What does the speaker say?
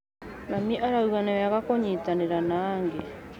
Mami arauga nĩ wega kũnyitanĩra na angĩ.